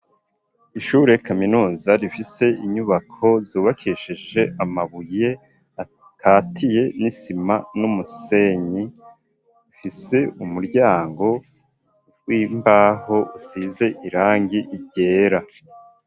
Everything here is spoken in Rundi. Ishure kaminuza, rifise inyubako zubakishije amabuye akatiye n'isima n'umusenyi, rifise umuryango w'imbaho usize irangi ryera.